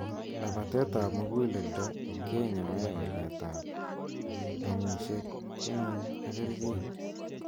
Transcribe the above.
Labateet ap muguleldo kenyoe walet ap amusheg ng'uung ak kercheek.